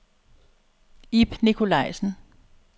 Ib Nikolajsen